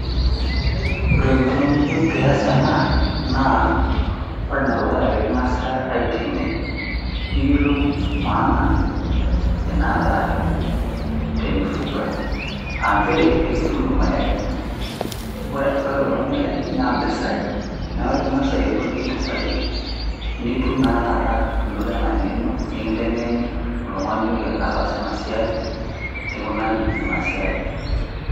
Ore engeno niyieu pias ena naa ore ene dukuya naa pekingasae aitengen , niyiolou maana naata enkuku tenifuga, aa nchere enkitum irmayayi .Ore kulo mayayi naa mpisai , naa ore pingas ayiolou ajo mpisai , nitum naa taata anoto ena ngeno, nikintengeni , oltungani otaasa ena siai ,enikunari ena siai.